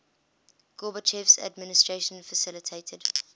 gorbachev's administration facilitated